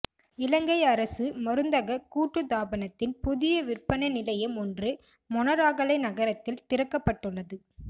இலங்கை அரச மருந்தக கூட்டுத்தாபனத்தின் புதிய விற்பனை நிலையம் ஒன்று மொனராகலை நகரத்தில் திறக்கப்பட்டுள்ளது